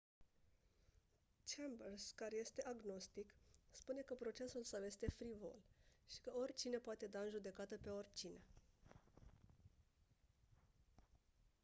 chambers care este agnostic spune că procesul său este «frivol» și că «oricine poate da în judecată pe oricine»